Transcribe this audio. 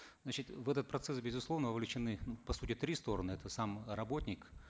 значит в этот процесс безусловно вовлечены по сути три стороны это сам работник